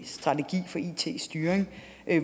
strategi for it styring